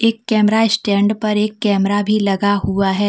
Camera stand पर एक camera भी लगा हुआ है।